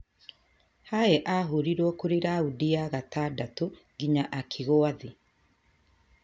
Haye ahũrirũo kure raoundi ya gatandatũ nginya agĩkua thĩĩ